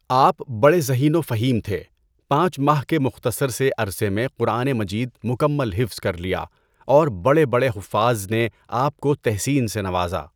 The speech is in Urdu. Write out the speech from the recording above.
آپ بڑے ذہین و فہیم تھے ــ پانچ ماہ کے مختصر سے عرصہ میں قرآن مجید مکمل حفظ کر لیا اور بڑے بڑے حفاظ نے آپ کو تحسین سے نوازاـ